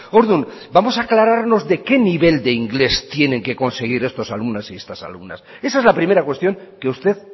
orduan vamos a aclararnos de qué nivel de inglés tienen que conseguir estos alumnos y estas alumnas esa es la primera cuestión que usted